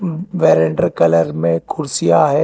बैरेटर colour में कुर्सियां है।